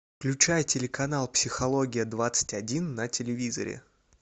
включай телеканал психология двадцать один на телевизоре